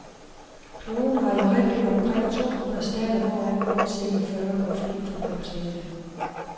Kloden har i øjeblikket omkring to hundrede stater, hvoraf kun cirka fyrre går fri for påtale.